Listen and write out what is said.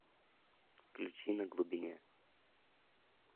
включи на глубине